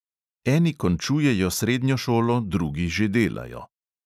Eni končujejo srednjo šolo, drugi že delajo.